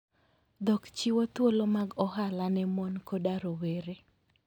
Dhok chiwo thuolo mag ohala ne mon koda rowere.